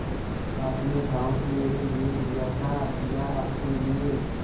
आपने गॉँव मेरे लिये लिया था या अपने लिए